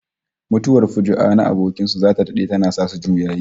Mutuwar fuju'a na abokin su zata dade tana sanya su juyayi